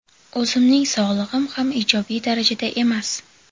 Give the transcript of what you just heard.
O‘zimning sog‘lig‘im ham ijobiy darajada emas.